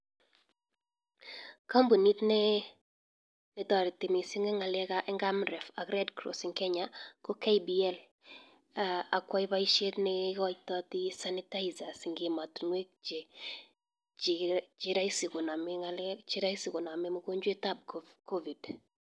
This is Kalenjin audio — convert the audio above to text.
Kampunit nee netareti missing eng ngalek ab amref ak red cross eng kenya ko KBL akwaii paishet nee ikaitati sanitaizers eng ematunuek che raisi koname mongojwet ab covid